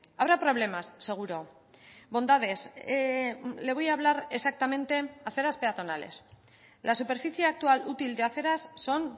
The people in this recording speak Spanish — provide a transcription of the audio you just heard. habrá problemas seguro bondades le voy a hablar exactamente de aceras peatonales la superficie actual útil de aceras son